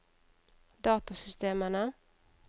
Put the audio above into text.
datasystemene